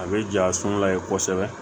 A bɛ ja sɔn layɛ kosɛbɛ